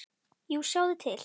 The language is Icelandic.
Jú, sjáðu til.